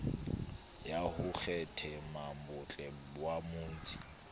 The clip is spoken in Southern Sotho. ya ho kgethammabotle wa mautse